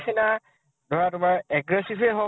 তাৰ নিচিনা ধৰা তোমাৰ aggressive য়ে হৌক